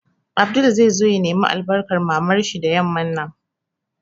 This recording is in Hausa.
Abdul zai zo ya nemi albarkan Mamar shi da yamman nan